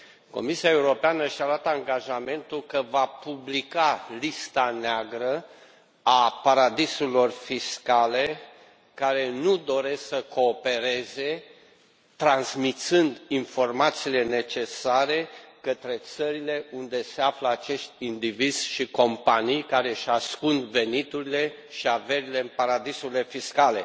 Comisia Europeană și a luat angajamentul că va publica lista neagră a paradisurilor fiscale care nu doresc să coopereze, transmițând informațiile necesare către țările unde se află acești indivizi și companii care își ascund veniturile și averile în paradisuri fiscale.